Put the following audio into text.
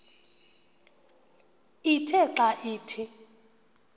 ithe xa ithi